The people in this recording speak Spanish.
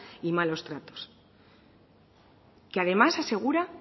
y malos tratos que además asegura